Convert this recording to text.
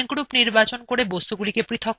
এখন আমাদের লেক নির্বাচন করুন